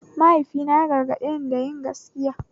Mahaifina ya gargaɗeni da yin gaskiya